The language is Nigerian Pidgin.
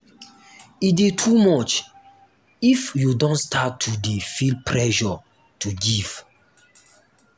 e de too much if you don start to de feel pressure to give